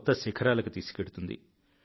కొత్త శిఖరాలకు తీసుకెళ్తుంది